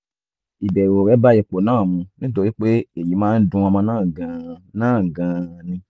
ìbẹ̀rù rẹ bá ipò náà mu nítorí pé èyí máa ń dun ọmọ náà gan-an náà gan-an ni